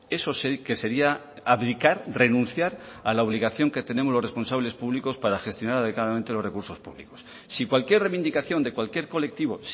eso sí que sería abdicar renunciar a la obligación que tenemos los responsables públicos para gestionar adecuadamente los recursos públicos si cualquier reivindicación de cualquier colectivo